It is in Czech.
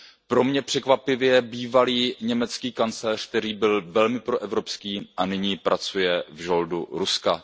Pro mě překvapivě bývalý německý kancléř, který byl velmi proevropský a nyní pracuje v žoldu Ruska.